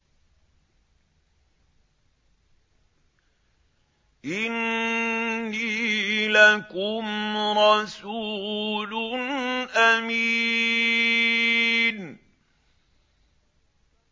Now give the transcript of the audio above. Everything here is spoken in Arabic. إِنِّي لَكُمْ رَسُولٌ أَمِينٌ